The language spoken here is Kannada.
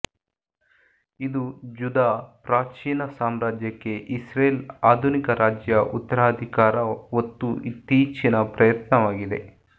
ಇದು ಜುದಾ ಪ್ರಾಚೀನ ಸಾಮ್ರಾಜ್ಯಕ್ಕೆ ಇಸ್ರೇಲ್ ಆಧುನಿಕ ರಾಜ್ಯ ಉತ್ತರಾಧಿಕಾರ ಒತ್ತು ಇತ್ತೀಚಿನ ಪ್ರಯತ್ನವಾಗಿದೆ